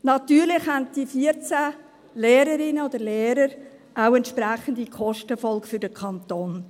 Natürlich haben diese 14 Lehrerinnen und Lehrer auch entsprechende Kostenfolgen für den Kanton.